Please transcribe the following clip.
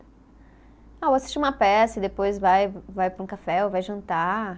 Ah, eu vou assistir uma peça e depois vai vai para um café ou vai jantar.